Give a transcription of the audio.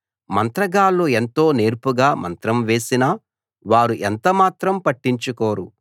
మంత్రగాళ్ళు ఎంతో నేర్పుగా మంత్రం వేసినా వారు ఎంతమాత్రం పట్టించుకోరు